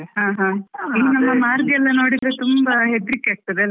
ಹ ಹ, ಈಗ ಮಾರ್ಗ ಎಲ್ಲಾ ನೋಡಿದ್ರೆ, ತುಂಬಾ ಹೆದ್ರಿಕೆ ಆಗ್ತಾದೆ ಅಲ.